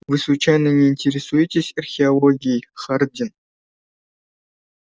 вы случайно не интересуетесь археологией хардин